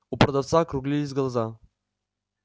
у продавца округлились глаза